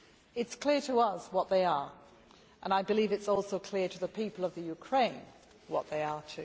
It is clear to us what they are and I believe it is also clear to the people of Ukraine what they are.